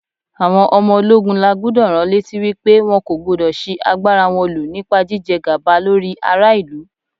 Àwọn ọmọ ológun la gbúdọ̀ ránlétí wípé wọn kò gbúdọ̀ ṣi agbára wọn lò nípa jíjẹ gàba lórí ara ìlú.